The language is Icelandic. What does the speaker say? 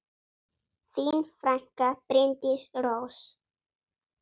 Þín frænka, Bryndís Rós.